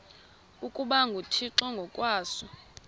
ukuba nguthixo ngokwaso